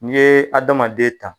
N'i ye adamaden ta.